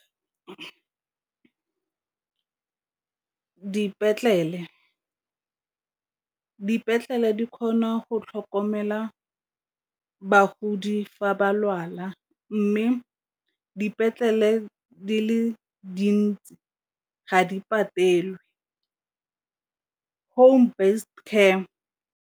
Dipetlele di kgona go tlhokomela bagodi fa ba lwala mme dipetlele di le dintsi ga di patelwe home based care.